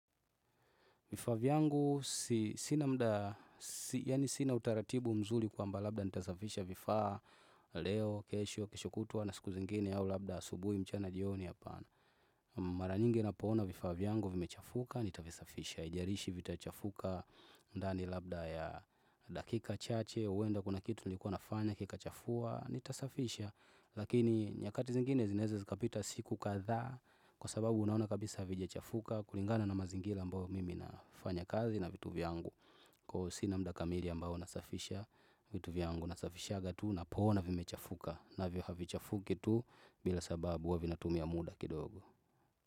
Vifaa vyangu sina mda, yaani sina utaratibu mzuri kwamba labda nitazafisha vifaa leo, kesho, kesho kutwa na siku zingine au labda asubuhi mchana jioni hapana. Mara nyingi na poona vifaa vyangu vimechafuka, nitavizafisha. Ijarishi vitachafuka, ndani labda ya dakika chache, huenda kuna kitu nilikuwa nafanya, kika chafua, nitasafisha. Lakini nyakati zingine zinaeze zikapita siku kathaa Kwa sababu unaona kabisa havijachafuka kulingana na mazingira ambayo mimi nafanya kazi na vitu vyangu Kwa hivo sina mda kamiri ambao nasafisha vitu vyangu nasafishanga tu na poona vimechafuka na vyo havichafuki tu bila sababu huwavina tumia muda kidogo.